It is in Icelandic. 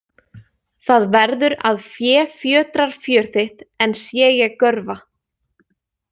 Það verður að fé fjötrar fjör þitt en sé ég görva.